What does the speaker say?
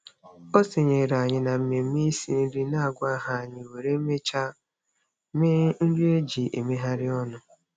O sonyeere anyị na mmemme isi nri na-agwaghị anyị wee mechaa mee nri e ji emegharị ọnụ.